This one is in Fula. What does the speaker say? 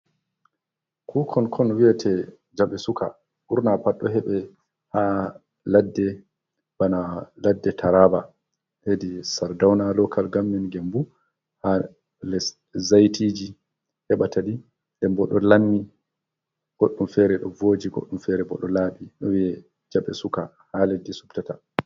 Kukon kon wiyate jaɓɓe suka ɓurna pat ɗo heɓe ha ladde bana ladde taraba hedi sardauna lokal gammen gembu, ha zaitiji heɓa ta ɗi, den bo ɗo lammi, goɗɗum fere ɗo voji, goɗɗum fere bo ɗo laɓi ɗo wiye jaɓɓe suka ha leddi sub tata.